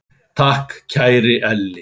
Takk, kæri Elli.